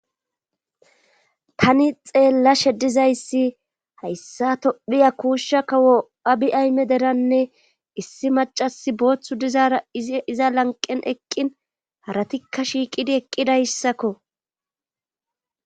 tani xeellashe dizayssi hayssa tophiya kuushsha ka wo abi ayme deranne issi macasi booththu dizaara iza lanqen eqqin haratikka shiiqidi eqqidayssakko